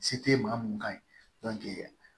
Se tɛ maa mun ka ɲi